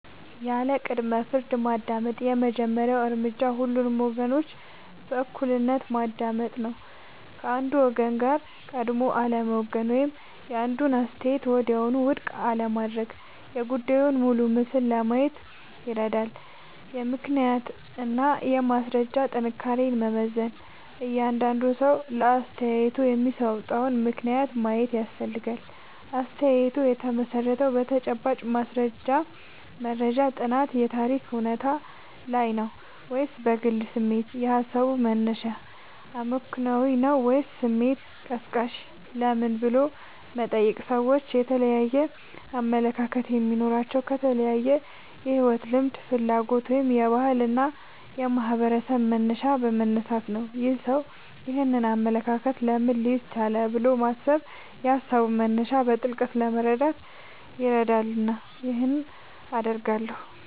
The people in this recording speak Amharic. ያለ ቅድመ-ፍርድ ማዳመጥ የመጀመሪያው እርምጃ ሁሉንም ወገኖች በእኩልነት ማዳመጥ ነው። ከአንዱ ወገን ጋር ቀድሞ አለመወገን ወይም አንዱን አስተያየት ወዲያውኑ ውድቅ አለማድረግ የጉዳዩን ሙሉ ምስል ለማየት ይረዳል። የምክንያትና የማስረጃ ጥንካሬን መመዘን እያንዳንዱ ሰው ለአስተያየቱ የሚሰጠውን ምክንያት ማየት ያስፈልጋል። አስተያየቱ የተመሠረተው በተጨባጭ ማስረጃ (መረጃ፣ ጥናት፣ የታሪክ እውነታ) ላይ ነው ወይስ በግል ስሜት? የሃሳቡ መነሻ አመክንዮአዊ ነው ወይስ ስሜት ቀስቃሽ? ለምን" ብሎ መጠየቅ ሰዎች የተለያየ አመለካከት የሚኖራቸው ከተለያየ የሕይወት ልምድ፣ ፍላጎት ወይም የባህልና የማኅበረሰብ መነሻ በመነሳት ነው። "ይህ ሰው ይህንን አመለካከት ለምን ሊይዝ ቻለ?" ብሎ ማሰብ የሃሳቡን መነሻ በጥልቀት ለመረዳት ይረዳልና ይህን አደርጋለሁ